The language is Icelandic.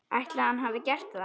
Ætli hann hafi gert það?